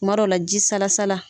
Kuma dɔw la ji salasala